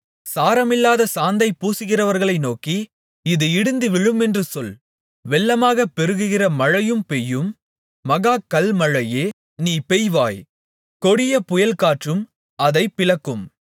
சாரமில்லாத சாந்தைப் பூசுகிறவர்களை நோக்கி அது இடிந்து விழுமென்று சொல் வெள்ளமாகப் பெருகுகிற மழை பெய்யும் மகா கல்மழையே நீ பெய்வாய் கொடிய புயல்காற்றும் அதைப் பிளக்கும்